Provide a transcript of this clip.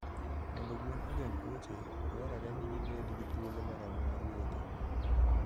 Mondo gwen ogeng tuoche, dwarore ni gibed gi thuolo moromo mar wuotho.